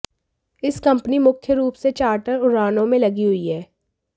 इस कंपनी मुख्य रूप से चार्टर उड़ानों में लगी हुई है